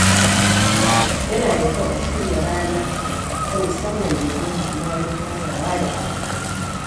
Yana da kyau a shirya rana ta musamman domin haɗuwa don ganawa da abokai.